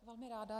Velmi ráda.